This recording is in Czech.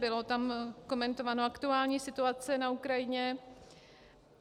Byla tam komentována aktuální situace na Ukrajině.